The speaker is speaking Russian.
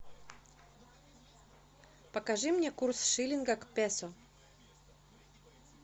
покажи мне курс шиллинга к песо